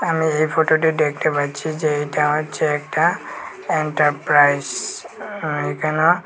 আমি এই ফটোটে ডেকটে পাচ্ছি যে এটা হচ্ছে একটা এন্টারপ্রাইজ উম এখানেও--